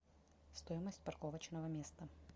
стоимость парковочного места